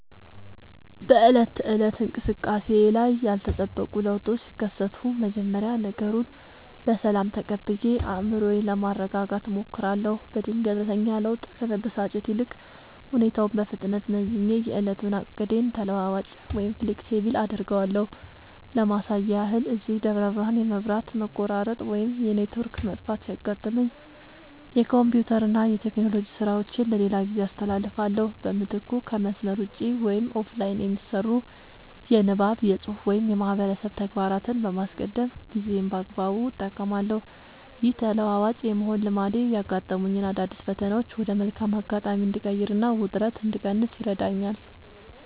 በዕለት ተዕለት እንቅስቃሴዬ ላይ ያልተጠበቁ ለውጦች ሲከሰቱ፣ መጀመሪያ ነገሩን በሰላም ተቀብዬ አእምሮዬን ለማረጋጋት እሞክራለሁ። በድንገተኛ ለውጥ ከመበሳጨት ይልቅ፣ ሁኔታውን በፍጥነት መዝኜ የዕለቱን ዕቅዴን ተለዋዋጭ (Flexible) አደርገዋለሁ። ለማሳያ ያህል፣ እዚህ ደብረ ብርሃን የመብራት መቆራረጥ ወይም የኔትወርክ መጥፋት ሲያጋጥመኝ፣ የኮምፒውተርና የቴክኖሎጂ ሥራዎቼን ለሌላ ጊዜ አስተላልፋለሁ። በምትኩ ከመስመር ውጭ (Offline) የሚሰሩ የንባብ፣ የፅሁፍ ወይም የማህበረሰብ ተግባራትን በማስቀደም ጊዜዬን በአግባቡ እጠቀማለሁ። ይህ ተለዋዋጭ የመሆን ልማዴ ያጋጠሙኝን አዳዲስ ፈተናዎች ወደ መልካም አጋጣሚ እንድቀይርና ውጥረት እንድቀንስ ይረዳኛል።